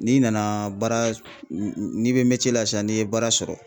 N'i nana baara n'i bɛ la sisan n'i ye baara sɔrɔ